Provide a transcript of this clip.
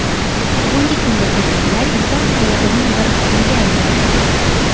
Bugungi kunda ko‘priklar inson hayotining bir qismiga aylandi.